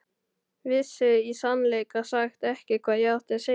Vissi í sannleika sagt ekki hvað ég átti að segja.